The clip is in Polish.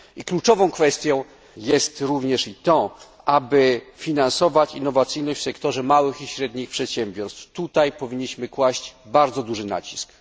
Kluczową kwestią jest również i to, aby finansować innowacyjność w sektorze małych i średnich przedsiębiorstw. Na to powinniśmy kłaść bardzo duży nacisk.